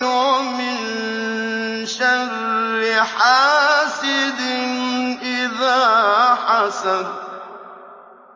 وَمِن شَرِّ حَاسِدٍ إِذَا حَسَدَ